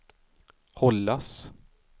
hållas